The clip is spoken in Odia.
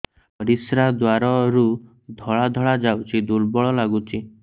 ପରିଶ୍ରା ଦ୍ୱାର ରୁ ଧଳା ଧଳା ଯାଉଚି ଦୁର୍ବଳ ଲାଗୁଚି